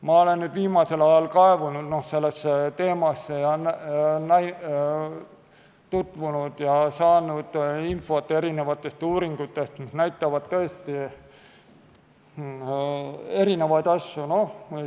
Ma olen viimasel ajal kaevunud sellesse teemasse ja saanud infot erinevatest uuringutest, mis näitavad tõesti erinevaid asju.